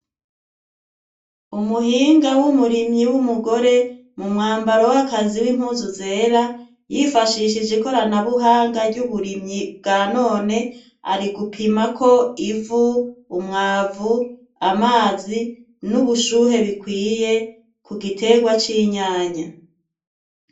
Umuhinga w'umurimyi wumugore mumwambaro wakazi nimpuzu zera, yifashishije ikorana buhanga ry uburimyi bwa none, Ari gupimako ivu, umwavu, amazi nubushuhe bikwiye ku giterwa cinyanya.